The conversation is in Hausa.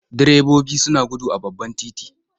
Direbobi suna gudu a babban titi.